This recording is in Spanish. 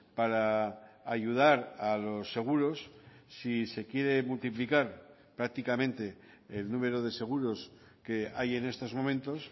para ayudar a los seguros si se quiere multiplicar prácticamente el número de seguros que hay en estos momentos